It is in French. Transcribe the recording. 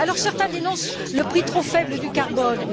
Certains dénoncent le prix trop faible du carbone.